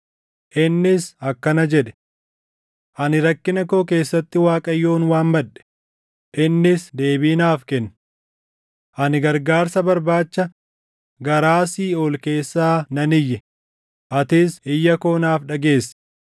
Innis akkana jedhe: “Ani rakkina koo keessatti Waaqayyoon waammadhe; innis deebii naaf kenne. Ani gargaarsa barbaacha garaa siiʼool keessaa nan iyye; atis iyya koo naaf dhageesse.